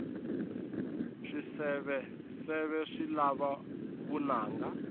swiseveseve swi lava vunanga